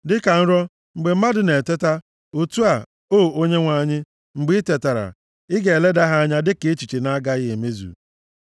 Dịka nrọ, mgbe mmadụ na-eteta, otu a, O Onyenwe anyị, mgbe i tetara, ị ga-eleda ha anya dịka echiche na-agaghị emezu.